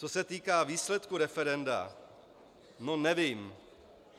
Co se týká výsledku referenda, no, nevím.